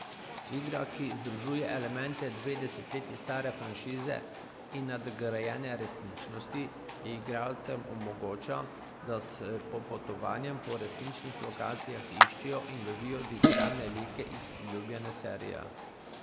Igra, ki združuje elemente dve desetletji stare franšize in nadgrajene resničnosti, igralcem omogoča, da s popotovanjem po resničnih lokacijah iščejo in lovijo digitalne like iz priljubljene serije.